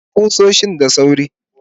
kawo kusoshin da sawrin